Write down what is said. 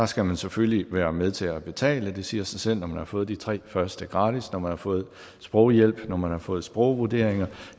skal man selvfølgelig være med til at betale det siger sig selv når man har fået de tre første gratis når man har fået sproghjælp når man har fået sprogvurderinger